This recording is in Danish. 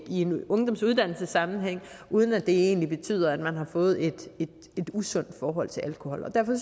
i en ungdomsuddannelsessammenhæng uden at det egentlig betyder at man har fået et usundt forhold til alkohol og derfor